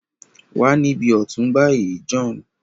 Wá nibi ọtun bayi John!